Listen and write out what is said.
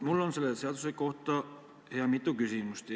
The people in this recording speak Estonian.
Mul on selle seaduse kohta mitu küsimust.